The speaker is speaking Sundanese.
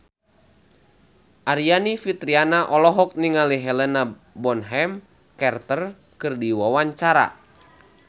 Aryani Fitriana olohok ningali Helena Bonham Carter keur diwawancara